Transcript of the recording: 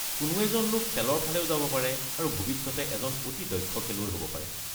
কোনো এজন লোক খেলৰ ফালেও যাব পাৰে আৰু ভৱিষ্যতে এজন অতি দক্ষ খেলুৱৈ হ'ব পাৰে।